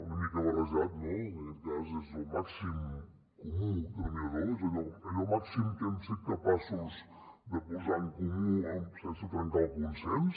una mica barrejat no en aquest cas del màxim comú denominador allò màxim que hem set capaços de posar en comú sense trencar el consens